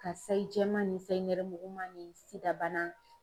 Ka sayi jɛman ni sayi nɛrɛmuguma ni SIDA bana